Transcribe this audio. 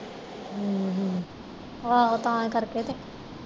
ਹਮਮ ਹਮਮ ਆਹੋ ਤਾਂ ਕਰਕੇ ਤੇ